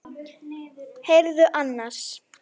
Heyrðu annars.